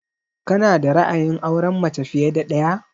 Ka na da ra'ayin aurenmace fiye da ɗaya?